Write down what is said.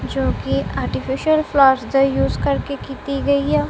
जो कि artificial flowers दा यूस करके कीती गई आ।